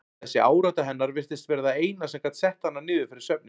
Þessi árátta hennar virtist vera það eina sem gat sett hana niður fyrir svefninn.